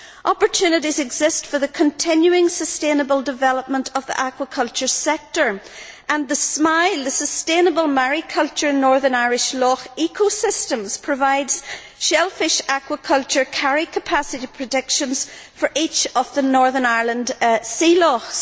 Opportunities exist for the continuing sustainable development of the aquaculture sector and SMILE, the Sustainable Mariculture in northern Irish Loch Ecosystems, provides shellfish aquaculture carrying capacity predictions for each of the Northern Ireland sea lochs.